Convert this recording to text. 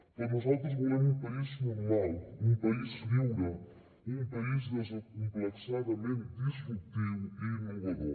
però nosaltres volem un país normal un país lliure un país desacomplexadament disruptiu i innovador